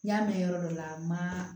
N y'a mɛn yɔrɔ dɔ la ma